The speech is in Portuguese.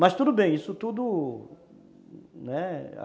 Mas tudo bem, isso tudo, né?